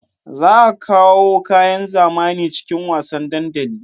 Za a kawo kayan zamani cikin wasan dandali